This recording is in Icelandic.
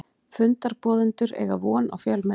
Fundarboðendur eiga von á fjölmenni